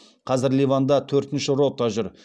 қазір ливанда төртінші рота жүр